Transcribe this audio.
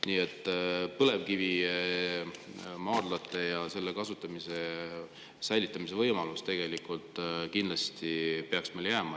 Nii et põlevkivimaardlate ja nende kasutamise säilitamise võimalus kindlasti peaks meile jääma.